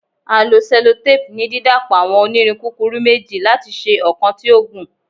A lo sellotape ni didapọ awọn onirin kukuru meji lati ṣe ọkan ti o gun